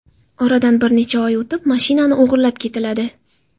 Oradan bir necha oy o‘tib, mashinani o‘g‘irlab ketiladi.